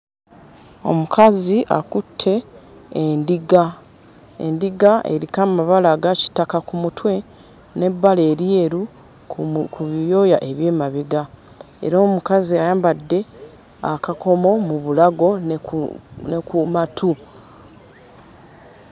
Omukazi akutte endiga. Endiga eriko amabala aga kitaka ku mutwe n'ebbala eryeru ku ebyoya eby'emabega era omukazi ayambadde akakomo mu bulago ne ku ne ku matu.